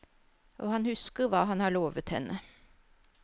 Og han husker hva han har lovet henne.